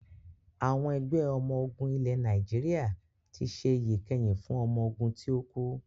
Àwọn Ẹgbẹ́ ọmọ ogún ilẹ̀ Nàìjíríà tí ṣe iyì ìkẹyìn fún ọmọ ogún ti o kú